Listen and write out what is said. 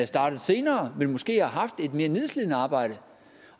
startet senere men måske har haft et mere nedslidende arbejde